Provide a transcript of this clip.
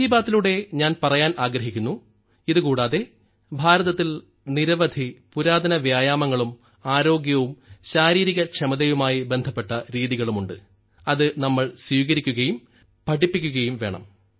മൻ കി ബാത്തിലൂടെ ഞാൻ പറയാൻ ആഗ്രഹിക്കുന്നു ഇതുകൂടാതെ ഭാരതത്തിൽ നിരവധി പുരാതന വ്യായാമങ്ങളും ആരോഗ്യവും ശാരീരികക്ഷമതയുമായി ബന്ധപ്പെട്ട രീതികളും ഉണ്ട് അത് നമ്മൾ സ്വീകരിക്കുകയും പഠിപ്പിക്കുകയും വേണം